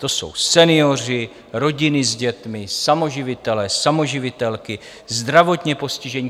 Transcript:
To jsou senioři, rodiny s dětmi, samoživitelé, samoživitelky, zdravotně postižení.